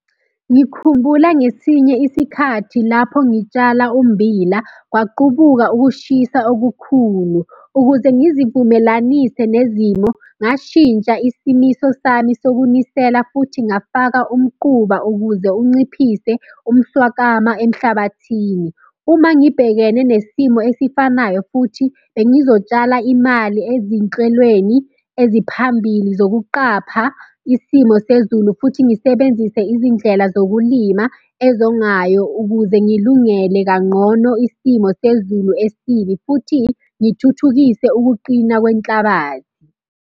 Ngikhumbula ngesinye isikhathi lapho ngitshala ummbila kwaqubuka ukushisa okukhulu, ukuze ngizivumelanise nezimo, ngashintsha isimiso sami sokunisela, futhi ngafaka umquba ukuze unciphise umswakama emhlabathini. Uma ngibhekene nesimo esifanayo futhi bengizotshala imali ezinhlwelweni eziphambili zokuqapha isimo sezulu futhi ngisebenzise izindlela zokulima ezongayo ukuze ngilungele kanqono isimo sezulu esibi futhi ngithuthukise ukuqina kwenhlabathi.